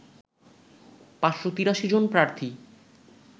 ৫৮৩ জন প্রার্থী